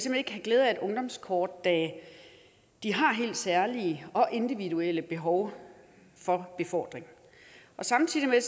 vil have glæde af et ungdomskort da de har helt særlige og individuelle behov for befordring samtidig